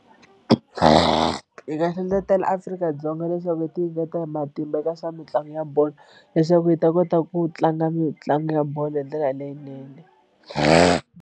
Hi nga hlohlotelo Afrika-Dzonga leswaku yi tinyiketela hi matimba eka swa mitlangu ya bolo leswaku yi ta kota ku tlanga mitlangu ya bolo hi ndlela leyinene.